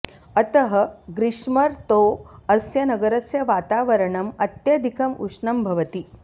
अतः ग्रीष्मर्तौ अस्य नगरस्य वातावरणम् अत्यधिकम् उष्णं भवति